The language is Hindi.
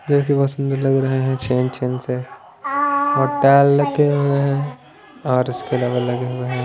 देखिए बहुत सुंदर लग रहे हैं छेन छेन से और टेल लग के हुए हैं और इसके लेवल लगे हुए हैं।